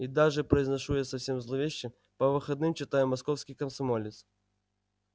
и даже произношу я совсем зловеще по выходным читаю московский комсомолец